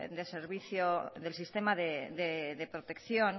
del sistema de protección